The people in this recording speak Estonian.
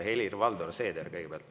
Helir-Valdor Seeder kõigepealt.